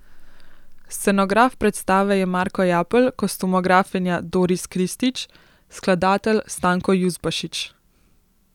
Scenograf predstave je Marko Japelj, kostumografinja Doris Kristić, skladatelj Stanko Juzbašić.